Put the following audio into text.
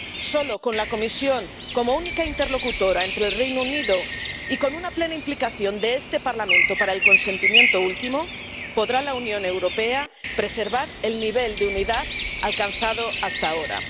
Solo con la Comisión como única interlocutora con el Reino Unido, y con la plena implicación de este Parlamento para la aprobación última, podrá la Unión Europea preservar el nivel de unidad alcanzado hasta ahora.